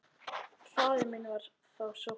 Faðir minn var þá sóttur.